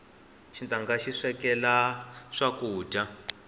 xitanga xi swekela swakudya